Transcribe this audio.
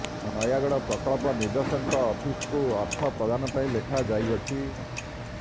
ନୟାଗଡ ପ୍ରକଳ୍ପ ନିର୍ଦ୍ଧେଶକଙ୍କ ଅଫିସ୍ କୁ ଅର୍ଥ ପ୍ରଦାନ ପାଇଁ ଲେଖାଯାଇଅଛି